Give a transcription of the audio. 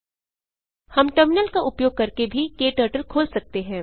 हम टर्मिनल का उपयोग करके भी क्टर्टल खोल सकते हैं